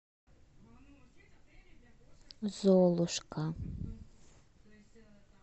золушка